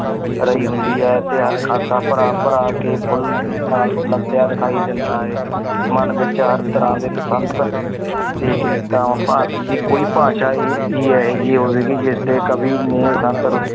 ਰਹੀ ਹੁੰਦੀ ਹੈ ਤੇ ਹਰ ਖਾਸਾ ਭਰਾ ਭਰਾ ਕੇ ਫੁੱਲ ਨਾਲ ਲੱਦਿਆ ਦਿਖਾਈ ਦਿੰਦਾ ਹੈ ਮਨ ਵਿੱਚ ਹਰ ਤਰ੍ਹਾਂ ਦੇ ਬਸੰਤ ਦੇ ਕਵਿਤਾ ਭਾਰਤ ਦੀ ਕੋਈ ਭਾਸ਼ਾ ਹੀ, ਹੀ ਇਹੋ ਜਿਹੀ ਹੋਵੇਗੀ ਜਿਸਦੇ ਕਵੀ ਨੇ ਬਸੰਤ ਰੁੱ~